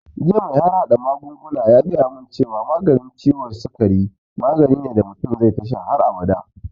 Jiya mai harhaɗa magunguna ya gaya mun cewa maganin ciwon sikari magani ne da mutum zai tasha har abada